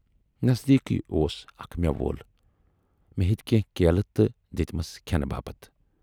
نٔزدیکی اوس اکھ مٮ۪وٕ وول، مے ہیتۍ کینہہ کیلہٕ تہٕ دِتۍمَس کھٮ۪نہٕ باپتھ۔